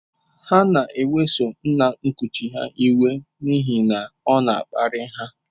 Ha na-eweso nna nkuchi ha iwe n’ihi na ọ na-akparị ha.